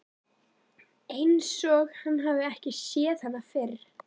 Einsog hann hafi ekki séð hana fyrr.